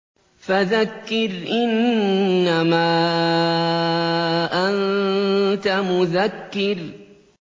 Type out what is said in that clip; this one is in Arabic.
فَذَكِّرْ إِنَّمَا أَنتَ مُذَكِّرٌ